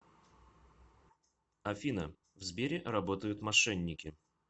афина в сбере работают мошенники